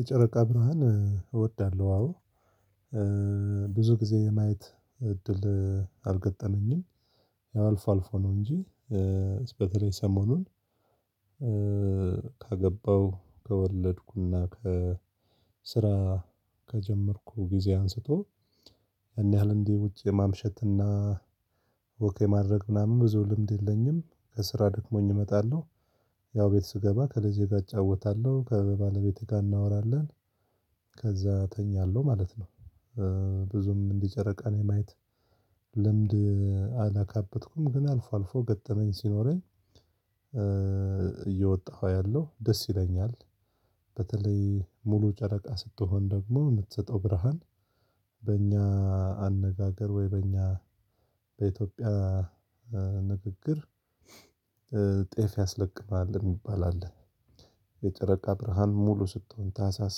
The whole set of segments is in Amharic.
የጨረቃ ብርሃን እወዳለሁ አዎ። ብዙ ግዜ የማየት እድል አልገጠመኝም። ያው አልፎ አልፎ ነው እንጂ በተለይ ሰሞኑን ካገባው ከወለድኩና ከስራ ከጀመርኩ ጊዜ አንስቶ ያን ያህል እንዲህ ውጪ ማምሸትና ወክ ማድረግ ምናምን ብዙ ልምድ የለኝም። ከስራ ደክሞኝ እመጣለሁ፣ ያው ቤት ስገባ ከልጄ ጋር አጫወታለሁ፣ ከባለቤቴ ጋርም እናወራለን፣ ከዛ እተኛለሁ ማለት ነው። ብዙም ጨረቃን የማየት ልምድ አላካበትኩም። ግን አልፎ አልፎ ገጠመኝ ሲኖረኝ እየወጣሁ አያለው፣ ደስ ይለኛል። በተለይ ሙሉ ጨረቃ ስትሆን ደግሞ የምትሰጠው ብርሃን በእኛ አነጋገር ወይ በእኛ በኢትዮጵያ ንግግር ጤፍ ያስለቅማል የሚባል አለ። የጨረቃ ብርሃን ሙሉ ስትሆን ታህሳስ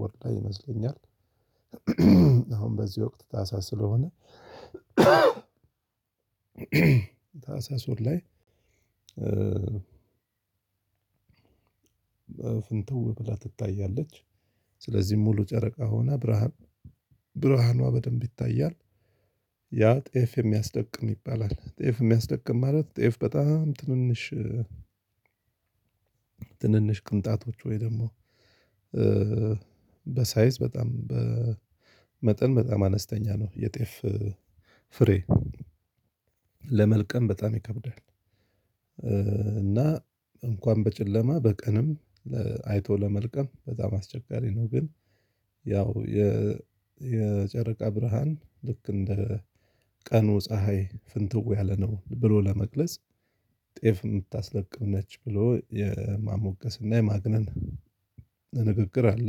ወር ላይ ይመስለኛል፣ አሁን በዚህ ወቅት ታህሳስ ስለሆነ ታህሳስ ወር ላይ ፍንትው ብላ ትታያለች። ስለዚህ ሙሉ ጨረቃ ሆና ብርሃን ብርሃኗ በደንብ ይታያል። ያ ጤፍ የሚያስለቅም ይባላል። ጤፍ የሚያስለቅም ማለት ጤፍ በጣም ትንንሽ ትንንሽ ቅንጣቶች ወይ ደግሞ በሳይዝ በጣም በመጠን በጣም አነስተኛ ነው የጤፍ ፍሬ። ለመልቀም በጣም ይከብዳል። እና እንኳን በጨለማ በቀንም አይቶ ለመልቀም በጣም አስቸጋሪ ነው። ግን ያው የ የጨረቃ ብርሃን ልክ እንደ ቀኑ ፀሀይ ፍንትው ያለ ነው ብሎ ለመግለጽ ጤፍ የምታስለቅም ነች ብሎ የማሞገስና የማግነን ንግግር አለ።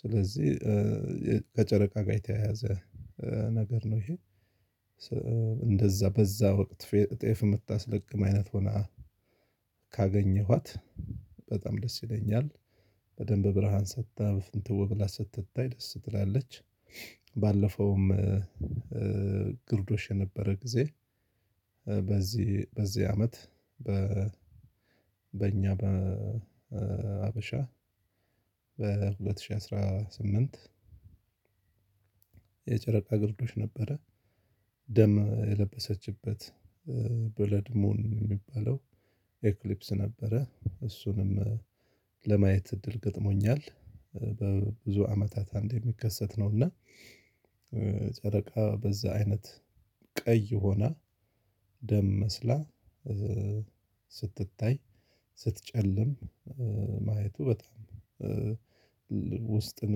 ስለዚህ ከጨረቃ ጋር የተየያዘ ነገር ነው ይሄ፣ ሶ እንደዛ በዛ ወቅት ጤፍ የምታስለቅም አይነት ሆና ካገኘኋት በጣም ደስ ይለኛል። በደንብ ብርሃን ሰጥታ በፍንትው ብላ ስትታይ ደስ ትላለች። ባለፈውም ግርዶሽ የነበረ ጊዜ በዚህ በዚህ አመት በ በእኛ በ ሀበሻ በሁለት ሺህ አስራ ስምንት የጨረቃ ግርዶች ነበረ። ደም የለበሰችበት ብለድ ሙን የሚባለው ኤክሊፕስ ነበረ። እሱንም ለማየት እድል ገጥሞኛል በብዙ አመታት አንድ የሚከሰት ነው እና ጨረቃ በዛ አይነት ቀይ ሆና ደም መስላ ስትታይ ስትጨልም ማየቱ በጣም ውስጥን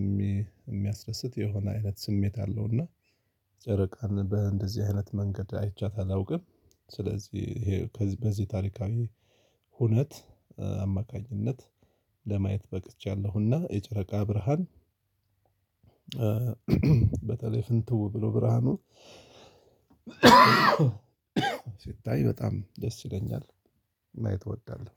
የሚ የሚያስደስት የሆነ አይነት ስሜት አለው እና ጨረቃን በእንደዚህ አይነት መንገድ አይቻት አላውቅም። ስለዚህ ይሄ በዚህ ታሪካዊ ሁነት አማካኝነት ለማየት በቅቻለሁና የጨረቃ ብርሃን በተለይ ፍንትው ብሎ ብርሃኑ ሲታይ በጣም ደስ ይለኛል፣ ማየት እወዳለሁ።